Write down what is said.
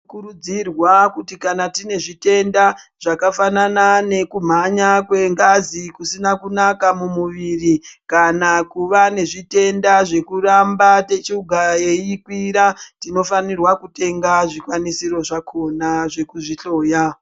Tinokurudzirwa kuti kana tine zvitenda zvakafanana nekumhanya kwengazi kusina kunaka mumuviri kana kuva nezvitenda zvekuramba shuga yeikwira tinofanirwa kutenga zvikwanisiro zvakhona zvekuzvihloya.